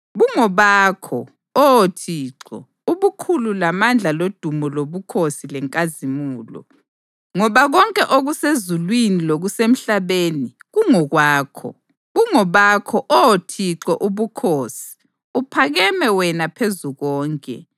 Bungobakho, Oh Thixo, ubukhulu lamandla lodumo lobukhosi lenkazimulo, ngoba konke okusezulwini lokusemhlabeni kungokwakho. Bungobakho, Oh Thixo, ubukhosi; uphakeme wena phezu konke.